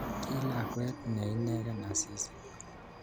Ki lakwet ne inegei Asisi